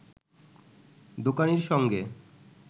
দোকানির সঙ্গে